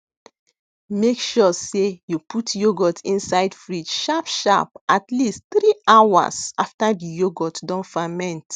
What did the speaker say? make sure sey you put yoghurt inside fridge sharp sharp atleast 3 hours after the yoghurt don ferment